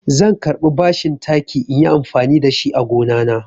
Zan karɓi bashin taki inyi amfani da shi a gonana.